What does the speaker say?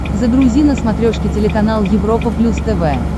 загрузи на смотрешке телеканал европа плюс тв